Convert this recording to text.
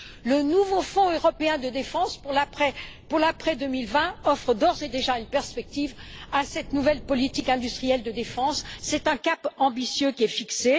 Le nouveau Fonds européen de la défense pour l'après 2020 offre d'ores et déjà une perspective à cette nouvelle politique industrielle de défense. C'est un cap ambitieux qui est fixé.